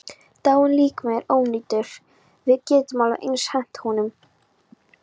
Dáinn líkami er ónýtur, við getum alveg eins hent honum.